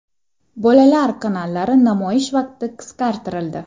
Bolalar kanallari namoyish vaqti qisqartirildi.